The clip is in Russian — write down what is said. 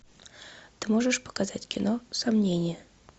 ты можешь показать кино сомнение